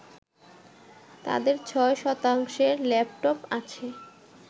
তাদের ৬ শতাংশের ল্যাপটপ আছে